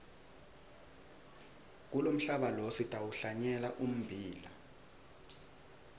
kulomhlaba lo sitawuhlanyela ummbila